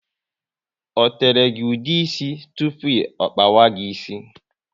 O tere gị ude ísì tụpụ ọ kpawa gị ịsị?